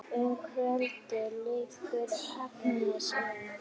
Um kvöldið lítur Agnes inn.